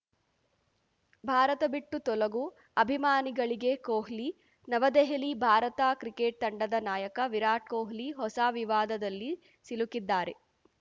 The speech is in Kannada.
ಭಾರತ ಬಿಟ್ಟು ತೊಲಗು ಅಭಿಮಾನಿಗಳಿಗೆ ಕೊಹ್ಲಿ ನವದೆಹಲಿ ಭಾರತ ಕ್ರಿಕೆಟ್‌ ತಂಡದ ನಾಯಕ ವಿರಾಟ್‌ ಕೊಹ್ಲಿ ಹೊಸ ವಿವಾದದಲ್ಲಿ ಸಿಲುಕಿದ್ದಾರೆ